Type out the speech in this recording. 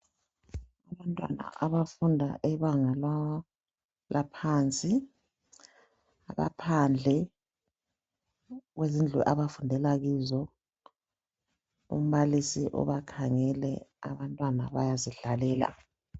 Abantwana abafunda ebanga laphansi abaphandle kwezindlu abafundela kizo ,umbalisi ubakhangele abantwana bayazidlalela.